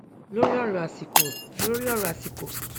lóri ọrọ àsìkò lóri ọrọ àsìkò